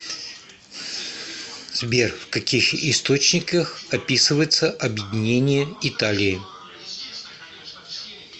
сбер в каких источниках описывается объединение италии